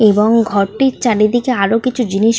এবং ঘরটির চারিদিকে আরো কিছু জিনিস।